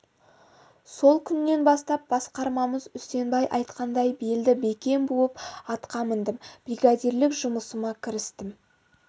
сол күннен бастап басқармамыз үсенбай айтқандай белді бекем буып атқа міндім бригадирлік жұмысыма кірістім